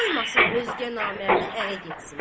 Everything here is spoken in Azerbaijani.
Qoymasın özgə namərdə ərə getsin.